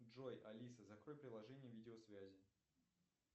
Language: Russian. джой алиса закрой приложение видеосвязи